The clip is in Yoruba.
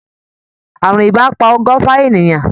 Àrùn ibà pa ọgọ́fa ènìyàn.